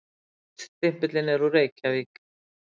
Póststimpillinn er úr Reykjavík.